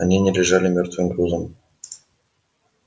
они не лежали мёртвым грузом